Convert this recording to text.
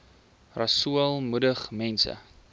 rasool moedig mense